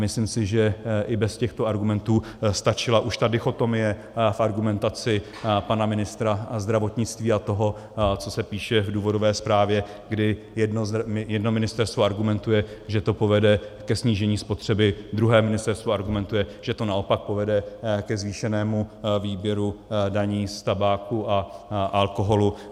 Myslím si, že i bez těchto argumentů stačila už ta dichotomie v argumentaci pana ministra zdravotnictví a toho, co se píše v důvodové zprávě, kdy jedno ministerstvo argumentuje, že to povede ke snížení spotřeby, druhé ministerstvo argumentuje, že to naopak povede ke zvýšenému výběru daní z tabáku a alkoholu.